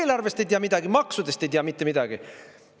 Eelarvest ei tea midagi, maksudest ei tea mitte midagi.